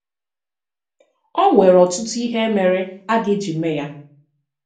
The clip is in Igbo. É nwere ọtụtụ̀ ihe mèrè a ga-eji mee ya!